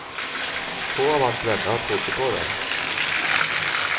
Få av hans venner trodde på det.